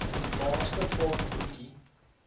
laaste paar broekie